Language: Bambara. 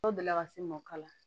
Dɔw deli la ka se mɔkala